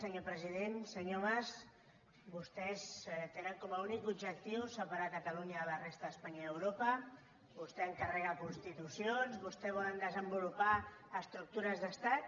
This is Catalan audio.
senyor mas vostès tenen com a únic objectiu separar catalunya de la resta d’espanya i europa vostè encarrega constitucions vostès volen desenvolupar estructures d’estat